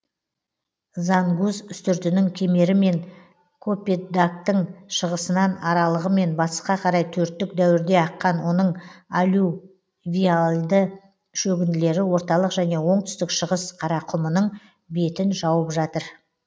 зангуз үстіртінің кемерімен копетдагтың шығысынын аралығымен батысқа қарай төрттік дәуірде аққан оның алювиальды шөгінділері орталық және оңтүстік шығыс қарақұмының бетін жауып жатыр